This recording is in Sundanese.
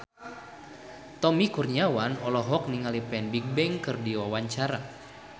Tommy Kurniawan olohok ningali Fan Bingbing keur diwawancara